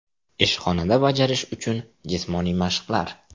Ishxonada bajarish uchun jismoniy mashqlar .